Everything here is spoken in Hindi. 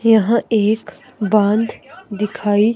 यहां एक बांध दिखाई--